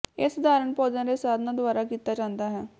ਇਹ ਸਧਾਰਣ ਪੌਦਿਆਂ ਦੇ ਸਾਧਨਾਂ ਦੁਆਰਾ ਕੀਤਾ ਜਾਂਦਾ ਹੈ